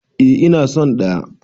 Eh ina son ɗaya.